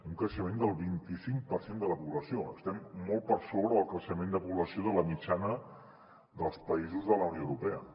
un creixement del vint i cinc per cent de la població estem molt per sobre del creixement de població de la mitjana dels països de la unió europea